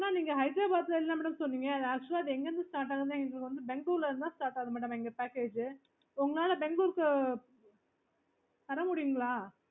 okayBangalore ல இருந்து okay